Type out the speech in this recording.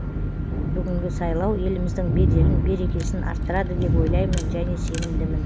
бүгінгі сайлау еліміздің беделін берекесін арттырады деп ойлаймын және сенімдімін